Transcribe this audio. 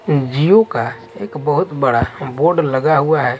जिओ काएक बहुत बड़ा बोर्ड लगा हुआ है।